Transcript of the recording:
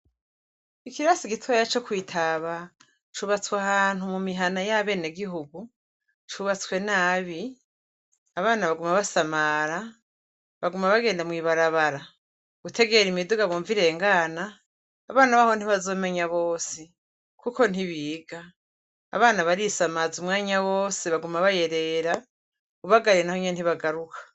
Ikirasi gitoya co Kwitaba, cubatswe ahantu mu mihana ya benegihugu cubatswe nabi. Abana baguma basamara, baguma bagenda mw'ibarabara gutegera imiduga bumva irengana, abana baho ntibazomenya bose. Kuko ntibiga. Abana barisamaza umwanya wose baguma bayerera ubagaruye naho ntibagaruka.